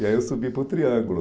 E aí eu subi para o Triângulo.